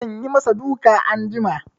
Zan yi ma sa duka anjima